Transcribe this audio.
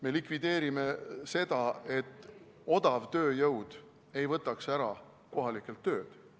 Me likvideerime seda, et odav tööjõud võtaks kohalikelt töö ära.